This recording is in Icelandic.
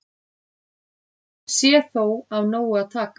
Sé þó af nógu að taka